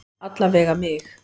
Alla vega mig.